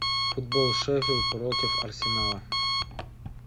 футбол шеффилд против арсенала